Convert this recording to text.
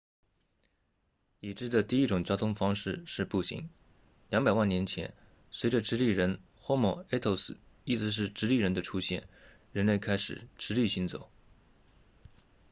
已知的第一种交通方式是步行200万年前随着直立人 homo erectus 意思是直立的人的出现人类开始直立行走